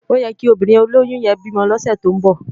Óyèkí óbìrín ólóyùn yèn bi mò lòsè tó n bò